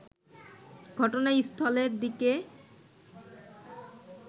ঘটনাস্থলের দিকে